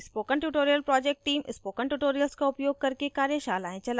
spoken tutorial project team spoken tutorials का उपयोग करके कार्यशालाएं चलाती है